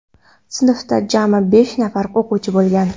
Sinfda jami besh nafar o‘quvchi bo‘lgan.